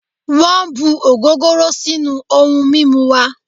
Wọn bu ogogoro sinu oun mimu wa